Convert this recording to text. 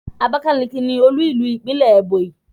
Abakalaki ni olu ilu ipinle Ebonyi